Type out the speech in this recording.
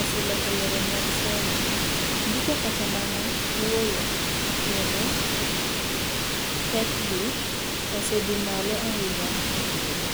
osee loko yore mag somo ,ndiko kata mana wuoyo kendo pekgi osee dhi malo ahinya ekinde gi.